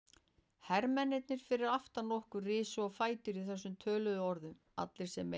Hermennirnir fyrir aftan okkur risu á fætur í þessum töluðum orðum, allir sem einn.